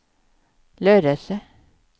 Lödöse